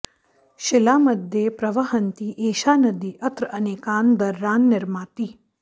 शिलामध्ये प्रवहन्ती एषा नदी अत्र अनेकान् दर्रान् निर्माति